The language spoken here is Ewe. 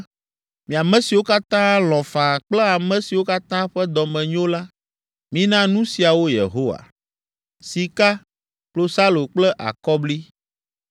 Mi ame siwo katã lɔ̃ faa kple ame siwo katã ƒe dɔ me nyo la, mina nu siawo Yehowa: “sika, klosalo kple akɔbli,